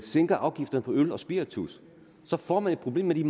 sænker afgifterne på øl og spiritus får man et problem med de